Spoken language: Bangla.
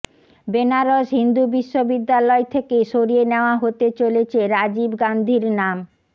বেনারস হিন্দু বিশ্ববিদ্যালয় থেকে সরিয়ে নেওয়া হতে চলেছে রাজীব গান্ধীর নাম